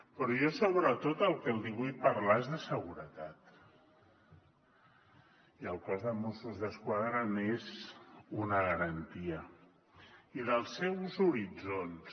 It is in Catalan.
però jo sobretot del que li vull parlar és de seguretat i el cos de mossos d’esquadra n’és una garantia i dels seus horitzons